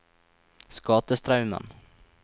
Skatestraumen